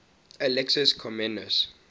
alexius comnenus